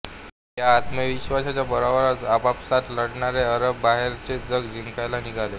या आत्मविश्वासाच्या बळावरच आपापसात लढणारे अरब बाहेरचे जग जिंकायला निघाले